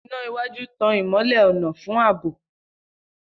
Ina iwaju tan ìmọ́lẹ̀ ọ̀nà fún ààbò.